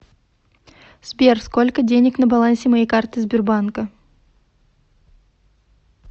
сбер сколько денег на балансе моей карты сбербанка